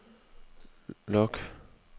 log